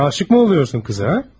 Sen aşık mı oluyorsun kıza ha?